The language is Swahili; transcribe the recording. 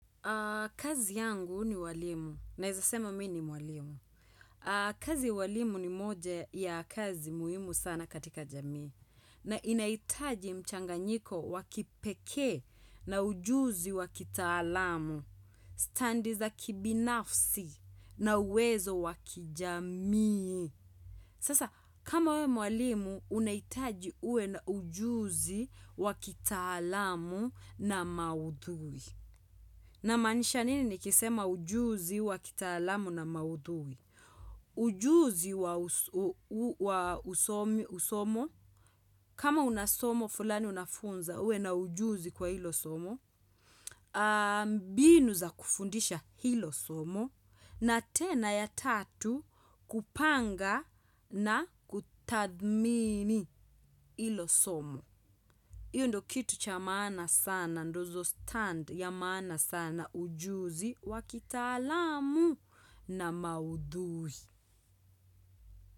Kazi yangu ni ualimu. Naeza sema mimi ni mwalimu. Kazi ya ualimu ni moja ya kazi muhimu sana katika jamii. Na inaitaji mchanganyiko wa kipekee na ujuzi wakitalamu. Standi za kibinafsi na uwezo wa kijamii. Sasa, kama we mwalimu, unaitaji uwe na ujuzi wa kitaalamu na maudhui. Namaanisha nini nikisema ujuzi wa kitaalamu na maudhui? Ujuzi wa usomo, kama una somo, fulani unafunza uwe na ujuzi kwa hilo somo. Mbinu za kufundisha hilo somo na tena ya tatu kupanga na kutadhmini hilo somo hiyo ndio kitu cha maana sana Ndozo stand ya maana sana ujuzi Wakitalamu na maudhuhi.